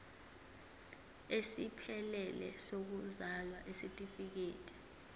esiphelele sokuzalwa isitifikedi